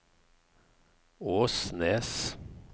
Åsnes